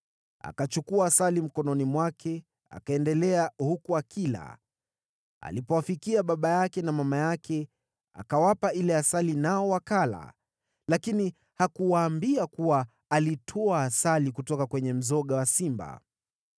akachukua asali mkononi mwake akaendelea huku akila. Alipowafikia baba yake na mama yake, akawapa ile asali nao wakala. Lakini hakuwaambia kuwa alitwaa asali kutoka kwenye mzoga wa simba.